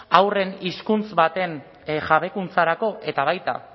haurren hizkuntz baten jabekuntzarako eta baita